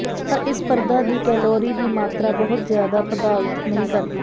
ਪਰ ਇਸ ਪਰਦਾ ਦੀ ਕੈਲੋਰੀ ਦੀ ਮਾਤਰਾ ਬਹੁਤ ਜ਼ਿਆਦਾ ਪ੍ਰਭਾਵਤ ਨਹੀਂ ਕਰਦੀ